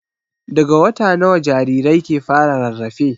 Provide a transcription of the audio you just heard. Daga wata nawa jarirai ke fara rarrafe?